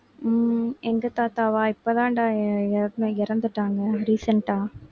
உம் எங்க தாத்தாவா இப்பதான்டா இற~ இறந்துட்டாங்க recent ஆ